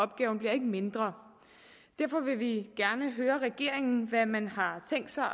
opgaven bliver ikke mindre derfor vil vi gerne høre regeringen hvad man har tænkt sig